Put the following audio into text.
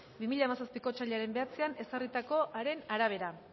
bi mila hamazazpiko otsailaren bederatzian ezarritakoaren arabera